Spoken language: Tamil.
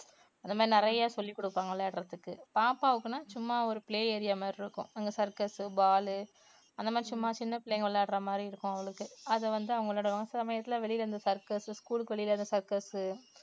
அது மாதிரி நிறைய சொல்லிக் குடுப்பாங்க விளையாடுறதுக்கு. பாப்பாவுக்குனா சும்மா ஒரு play area மாதிரி இருக்கும் அங்க circus, ball அந்த மாதிரி சும்மா சின்ன பிள்ளைங்க விளையாடுற மாதிரி இருக்கும் அவளுக்கு அத வந்து அவங்களோட சமயத்தில வெளியில அந்த circus school க்கு வெளியில அந்த circus உ